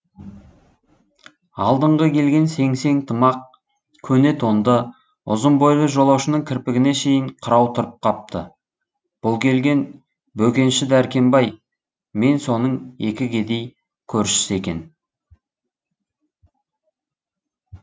алдыңғы келген сеңсең тымақ көне тонды ұзын бойлы жолаушының кірпігіне шейін қырау тұрып қапты бұл келген бөкенші дәркембай мен соның екі кедей көршісі екен